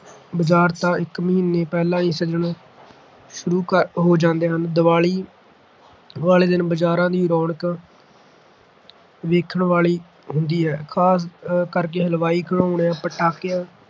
ਬਾਜ਼ਾਰ ਤਾਂ ਇੱਕ ਮਹੀਨਾ ਪਹਿਲਾਂ ਹੀ ਸਜਣੇ ਸ਼ੁਰੂ ਕਰ ਹੋ ਜਾਂਦੇ ਹਨ। ਦੀਵਾਲੀ ਵਾਲੇ ਦਿਨ ਬਜ਼ਾਰਾਂ ਦੀ ਰੌਣਕ ਵੇਖਣ ਵਾਲੀ ਹੁੰਦੀ ਹੈ। ਖ਼ਾਸ ਕਰ ਹਲਵਾਈਆਂ, ਖਿਡੌਣਿਆਂ ਪਟਾਕਿਆਂ